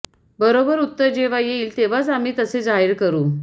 बरोबर उत्तर जेव्हा येईल तेव्हाच आम्ही तसे जाहीर करू